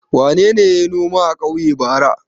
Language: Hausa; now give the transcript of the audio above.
Wane ne ya yi noma a ƙauye bara?